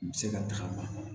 N bɛ se ka tagama